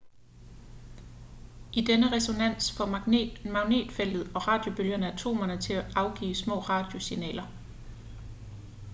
i denne resonans får magnetfeltet og radiobølgerne atomerne til at afgive små radiosignaler